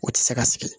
O tɛ se ka sigi